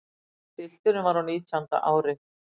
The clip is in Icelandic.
Pilturinn var á nítjánda ári.